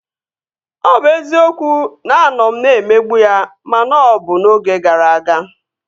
Ọ bụ eziokwu na a nọ m na-emegbu ya ma na ọ bụ n'oge gara aga